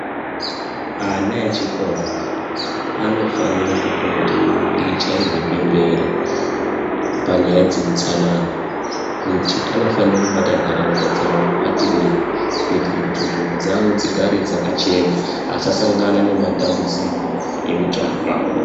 Ana echikora anofanira kupota eichairwe bembera panyaya dzeutsanana, kuti anofanira kubata ntaraunda dzawo mubatirei kuitire kuti nzvimbo dzawo dzigare dzakachena asasangana nematambudziko euchapa.